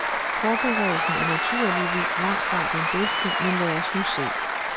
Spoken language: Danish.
Forberedelsen er naturligvis langtfra den bedste, men lad os nu se.